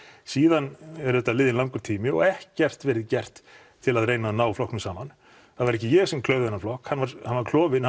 síðan er auðvitað liðinn langur tími og ekkert verið gert til að reyna að ná flokknum saman það var ekki ég sem klauf þennan flokk hann var hann var klofinn